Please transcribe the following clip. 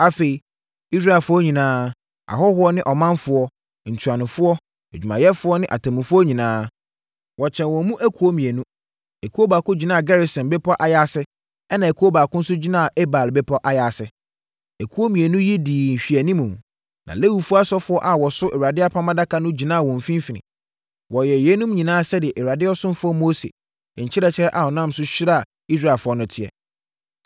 Afei, Israelfoɔ nyinaa, ahɔhoɔ ne ɔmanfoɔ, ntuanofoɔ, adwumayɛfoɔ ne atemmufoɔ nyinaa, wɔkyɛɛ wɔn mu akuo mmienu. Ekuo baako gyinaa Gerisim bepɔ ayaase ɛnna ekuo baako nso gyinaa Ebal bepɔ ayaase. Akuo mmienu yi dii nhwɛanimu. Na Lewifoɔ asɔfoɔ a wɔso Awurade Apam Adaka no gyinaa wɔn mfimfini. Wɔyɛɛ yeinom nyinaa sɛdeɛ Awurade ɔsomfoɔ Mose nkyerɛkyerɛ a ɔnam so hyiraa Israelfoɔ no teɛ.